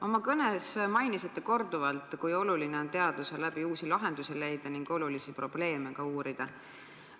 Oma kõnes mainisite korduvalt, kui tähtis on teaduse abil uusi lahendusi leida ja ka olulisi probleeme uurida.